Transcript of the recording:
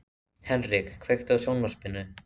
Henrik, kveiktu á sjónvarpinu.